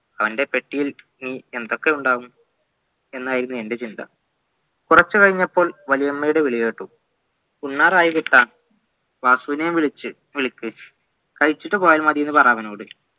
അവൻ്റെ പെട്ടിയിൽ ഇനിയെന്തൊക്കെയുണ്ടാവും എന്നായിരുന്നു എൻ്റെ ചിന്ത കുറച്ചു കഴിഞ്ഞപ്പോൾ വലിയമ്മയുടെ വിളി കേട്ടു ഉണ്ണാറായി കുട്ടാ വാസൂനെ വിളിച്ച് വാസൂനെയും വിളിക്ക് കഴിച്ചിട്ടുപോയ മതിയെന്ന് പറ അവനോട്